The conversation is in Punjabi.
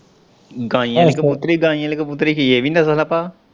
ਗਾਂਈ ਆਲ਼ੀ ਕਬੂਤਰੀ ਗਾਈ ਆਲ਼ੀ ਕਬੂਤਰੀ ਕੀ ਇਵੀਂ ਨਸ਼ੇ ਦਾ ਭਾਅ।